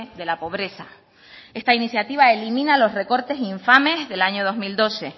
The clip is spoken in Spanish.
de la pobreza esta iniciativa elimina los recortes infames del año dos mil doce